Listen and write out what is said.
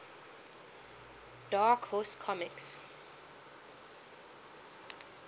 dark horse comics